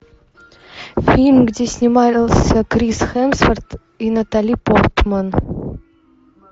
фильм где снимался крис хемсворт и натали портман